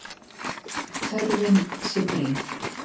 Þörfin sé brýn.